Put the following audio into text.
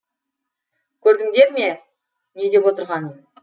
көрдіндер ме не деп отырғанын